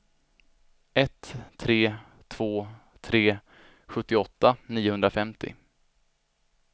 ett tre två tre sjuttioåtta niohundrafemtio